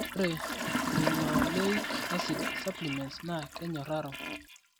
ore Linoleic acid supplements naa kenyoraro.